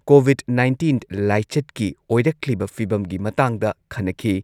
COVID nineteen ꯂꯥꯏꯆꯠꯀꯤ ꯑꯣꯏꯔꯛꯂꯤꯕ ꯐꯤꯚꯝꯒꯤ ꯃꯇꯥꯡꯗ ꯈꯟꯅꯈꯤ꯫